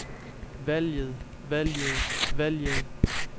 valget valget valget